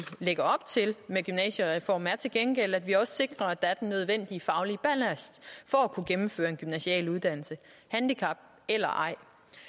lægger op til med gymnasiereformen er til gengæld at vi også sikrer at der er den nødvendige faglige ballast for at kunne gennemføre en gymnasial uddannelse handicap eller ej